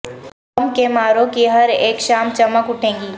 غم کے ماروں کی ہر ایک شام چمک اٹھے گی